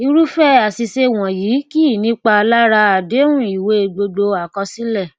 irúfẹ àṣìṣe wọnyí kì í nípa lára àdéhùn ìwé gbogbo àkọsílẹ